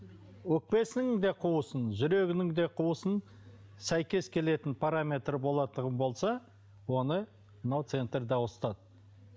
өкпесінің де қуысын жүрегінің де қуысын сәйкес келетін параметрі болатұғын болса оны мынау центрда ауыстырады